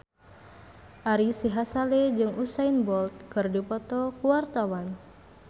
Ari Sihasale jeung Usain Bolt keur dipoto ku wartawan